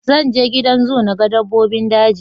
Zan je gidan zoo na ga dabbobin daji